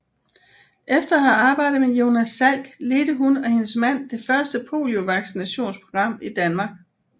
Efter at have arbejdet med Jonas Salk ledte hun og hendes mand det første poliovaccinationsprogram i Danmark